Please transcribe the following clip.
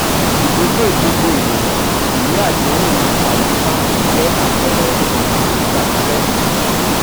ìdógò gbogbo ènìyàn ìwé àdéhùn àwìn báńkì jẹ àpẹẹrẹ àdéhùn ìgbà pípẹ́.